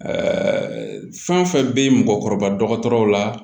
fɛn fɛn bɛ mɔgɔkɔrɔba dɔgɔtɔrɔw la